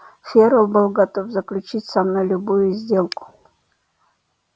ферл был готов заключить со мной любую сделку